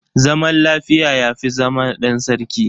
Zaman lafiya yafi zama ɗan sarki